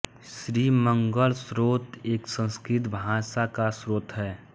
श्री सिद्धमंगल स्तोत्र एक संस्कृत भाषा का स्तोत्र है